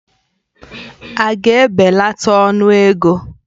Ága ebelata ọnụ ego?